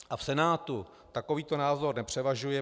A v Senátu takovýto názor nepřevažuje.